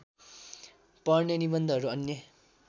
पर्ने निबन्धहरू अन्य